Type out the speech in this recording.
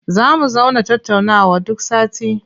Za mu zauna tattaunawa duk sati.